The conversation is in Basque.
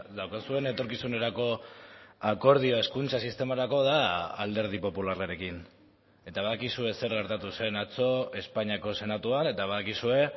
daukazuen etorkizunerako akordioa hezkuntza sistemarako da alderdi popularrarekin eta badakizue zer gertatu zen atzo espainiako senatuan eta badakizue